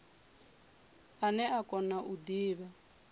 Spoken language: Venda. ane a kona u divha